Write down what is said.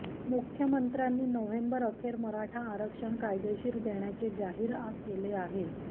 मुख्यमंत्र्यांनी नोव्हेंबर अखेर मराठा आरक्षण कायदेशीर देण्याचे जाहीर केले आहे